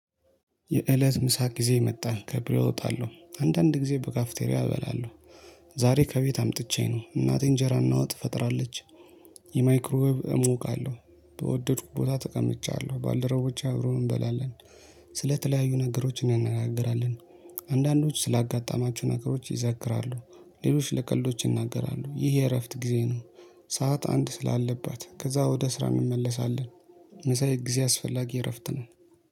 የእለት ምሳ ጊዜ የመጣን ከቢሮ እወጣለሁ አንዳንድ ጊዜ በካፍቴሪያ እበላለሁ። ዛሬ ከቤት አምጥቼ ነው እናቴን እንጀራ እናወጥ ፈጥራለች። የማይክሮ ወብ እሞቃለሁ በወደድኩ ቦታ ተቀምጫለሁ ባልደረቦች አብሮ እንበላለን። ስለተለያዩ ነገሮች እንነጋገራለን። አንዳንዶች ስላጋጠማችሁ ነገሮች ይዘክራሉ ሌሎች ለቀልዶች ይናገራሉ ይህ የእረፍት ጊዜ ነው። ሰዓት አንድ ስላለባት ከዛ ወደ ስራ እንመለሳለን። መሳይ ጊዜ አስፈላጊ እረፍት ነው